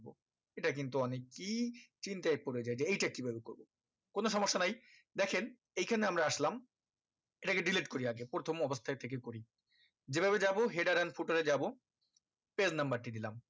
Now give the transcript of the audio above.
এটা কিন্তু অনেক ই চিন্তাই পরে যাই যে এই টা কিভাবে করবো কোনো সমস্যা নাই দেখেন এইখানে আমরা আসলাম এইটাকে delete করি আগে প্রথম অবস্থা থেকে করি যে ভাবে যাবো header and footer এ যাবো page number টি দিলাম